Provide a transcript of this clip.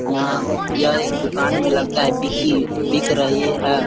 यहाँ यह एक दुकान में लगता है बिकी बिक रही है।